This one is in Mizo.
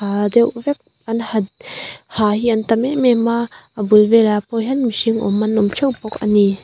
ha deuh vek an ha ha hi an tam em em a a bul vel ah pawh hian mihring awm an awm teuh bawk a ni.